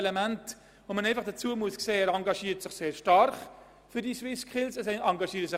Der Bund engagiert sich sehr stark für die SwissSkills.